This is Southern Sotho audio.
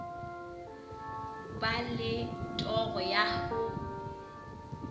ba le toro ya ho